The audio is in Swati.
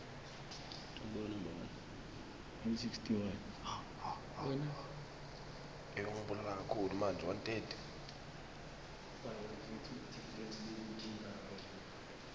likomiti lemkhandlu wetifundza